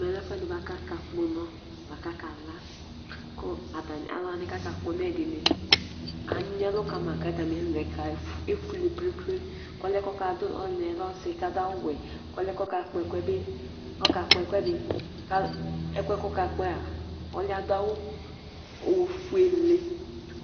Ɛmɛlɛ ɛfʋɛdi bʋakʋ aka kpɔ ʋnɔ kʋ atani kala Alu wani kʋ akakpɔ ʋnɔ yɛ ɛdiní anyi ɛlu kʋ atami ɛlu efʋele plem plem Ɔli yɛ lɛ ɔsi kʋ adu awu wɛ Ɔli yɛ kʋ ɔkakpɔ ɛku yɛ bi ɔkakpɔ ɛkʋɛdi kʋ ɛkʋ yɛ kʋ ɔkakpɔ yɛ'a ɔli yɛ adu awu ɔfʋele